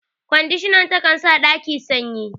Kwandishan ta kan sa ɗaki sanyi.